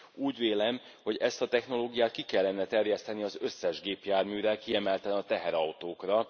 Úgy vélem, hogy ezt a technológiát ki kellene terjeszteni az összes gépjárműre, kiemelten a teherautókra.